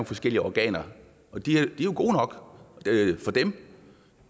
forskellige organer og de er jo gode nok for dem